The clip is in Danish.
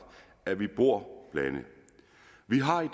at vi bor blandet